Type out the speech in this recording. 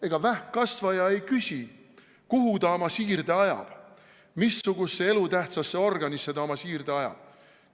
Ega vähkkasvaja ei küsi, kuhu ta oma siirde ajab, missugusesse elutähtsasse organisse ta oma siirde ajab.